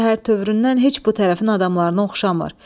Təhər-tövüründən heç bu tərəfin adamlarına oxşamır.